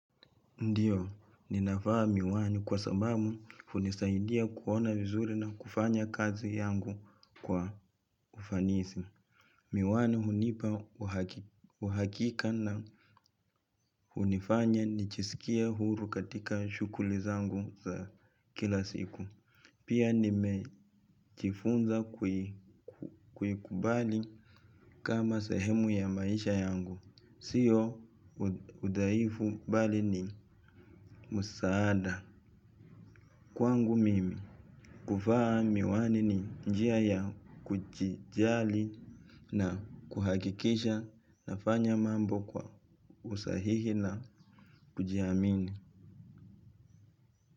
Ndiyo, ninavaa miwani kwa sababu hunisaidia kuona vizuri na kufanya kazi yangu kwa ufanisi. Miwani hunipa uhakika na hunifanya nijisikie huru katika shughuli zangu za kila siku. Pia nimejifunza kuikubali kama sehemu ya maisha yangu. Siyo udhaifu bali ni msaada. Na kwangu mimi kuvaa miwani ni njia ya kujijali na kuhakikisha nafanya mambo kwa usahihi na kujiamini.